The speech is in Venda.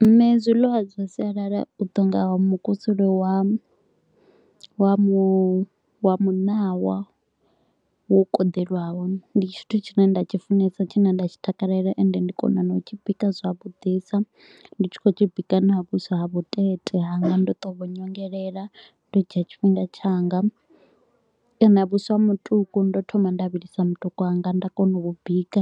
Nne zwiliwa zwa sialala u to u nga mukusule wa wa muṋawa, wo koḓeliwaho ndi tshithu tshine nda tshi funesa tshine nda tshi takalela ende ndi kona na u tshi bika zwavhudisa. Ndi tshi khou tshi bika na vhuswa ha vhutete hanga ndo to u vhu nyongelela, ndo dzhia tshifhinga tshanga kana vhuswa ha mutuku ndo thoma nda vhilisa mutuku wanga nda kona u vhu bika